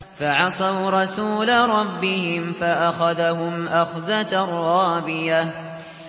فَعَصَوْا رَسُولَ رَبِّهِمْ فَأَخَذَهُمْ أَخْذَةً رَّابِيَةً